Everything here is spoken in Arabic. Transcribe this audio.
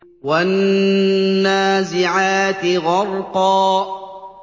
وَالنَّازِعَاتِ غَرْقًا